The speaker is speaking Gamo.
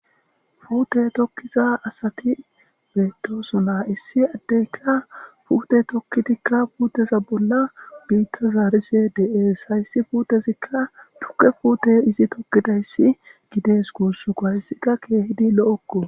Puuthe thokkiza asaathi beeththoosona; issi addeekka puuthe thokkidikka puutheza bolla biiththa zaarishee de7ees; hayssi puuthezikka thukke puuthe izi thokkizayssi gideeskoo; hayssika keehidi lo7okkoo.